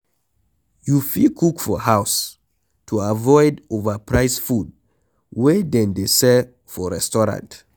You fit cook for house to avoid overpriced food wey dem dey sell for restaurant